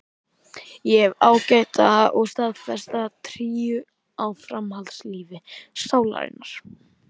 Ég hef ágæta og staðfasta trú á framhaldslífi sálarinnar.